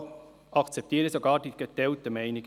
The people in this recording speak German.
Hier akzeptiere ich sogar die geteilten Meinungen.